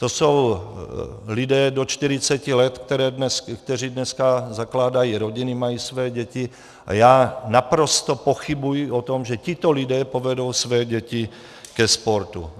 To jsou lidé do 40 let, kteří dneska zakládají rodiny, mají své děti a já naprosto pochybuji o tom, že tito lidé povedou své děti ke sportu.